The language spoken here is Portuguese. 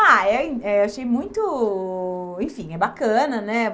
Ah, eh eh eu achei muito... Enfim, é bacana, né?